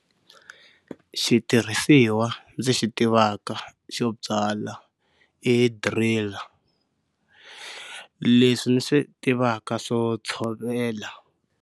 Xitirhisiwa ndzi xi tivaka xo byala i driller leswi ni swi tivaka swo tshovela.